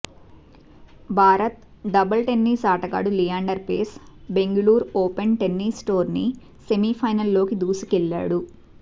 భారత doubles tennis ఆటగాడు Leander Paes Bengaluru open tennis tourney సెమీఫైనల్లోకి దూసుకెళ్లాడు